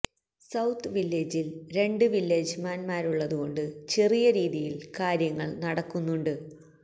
south വില്ലേജിൽ രണ്ട് വില്ലേജ്മാൻ മാരുള്ളതുകൊണ്ട് ചെറിയ രീതിയിൽ കാര്യങ്ങൾ നടക്കുന്നുണ്ട്